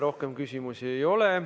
Rohkem küsimusi ei ole.